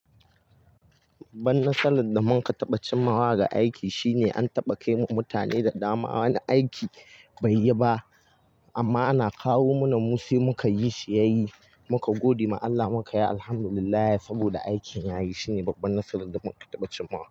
Babban nasarar da mun ka taɓa cimmawa ga aiki shine an taɓa kai ma mutane da dama wani aiki bai yi ba amma ana kawo mana mu sai muka yi shi ya yi. Muka gode ma Allah muka yi Alhamdulillahi saboda aikin ya yi. Shine babbar nasarar da munka taɓa cimmawa.